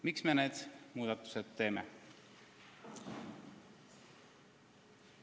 Miks me need muudatused teeme?